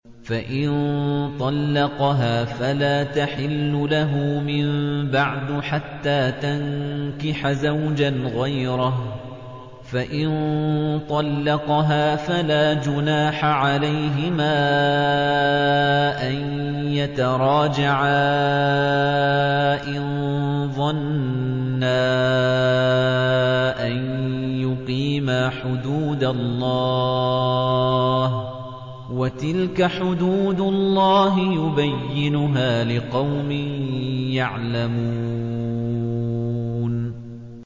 فَإِن طَلَّقَهَا فَلَا تَحِلُّ لَهُ مِن بَعْدُ حَتَّىٰ تَنكِحَ زَوْجًا غَيْرَهُ ۗ فَإِن طَلَّقَهَا فَلَا جُنَاحَ عَلَيْهِمَا أَن يَتَرَاجَعَا إِن ظَنَّا أَن يُقِيمَا حُدُودَ اللَّهِ ۗ وَتِلْكَ حُدُودُ اللَّهِ يُبَيِّنُهَا لِقَوْمٍ يَعْلَمُونَ